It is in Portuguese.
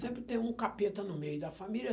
Sempre tem um capeta no meio da família.